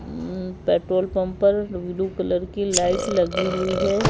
Petrol pump पर blue colour की light लगी हुई है।